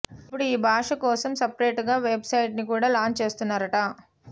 ఇప్పుడు ఈ భాష కోసం సపరేట్ గా వెబ్ సైట్ ని కూడా లాంచ్ చేస్తున్నారట